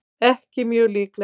ekki mjög líklegt